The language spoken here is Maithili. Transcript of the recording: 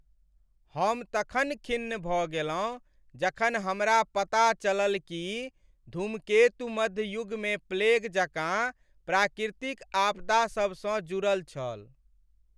हम तखन खिन्न भऽ गेलहुँ जखन हमरा पता चलल कि धूमकेतु मध्य युगमे प्लेग जकाँ प्राकृतिक आपदासभसँ जुड़ल छल।